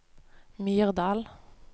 Myrdal